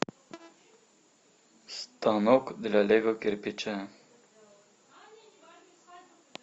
станок для лего кирпича